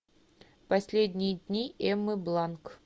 последние дни эммы бланк